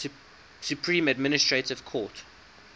supreme administrative court